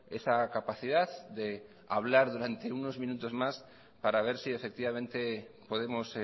esa capacidad de hablar durante unos minutos más para ver si efectivamente podemos